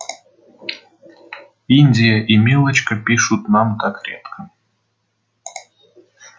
индия и милочка пишут нам так редко